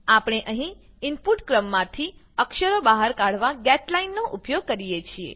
આપણે અહીં ઇનપુટ ક્રમમાંથી અક્ષરો બહાર કાઢવા ગેટલાઇન નો ઉપયોગ કરીએ છીએ